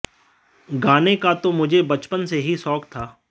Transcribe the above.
गाने का तो मुझे बचपन से ही शौक था